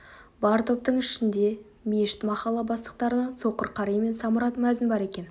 бар топтың ішінде мешіт махалла бастықтарынан соқыр қари мен самұрат мәзін бар екен